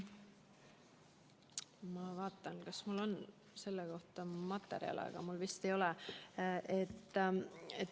Ma vaatan, kas mul on selle kohta materjale, aga mul vist ei ole.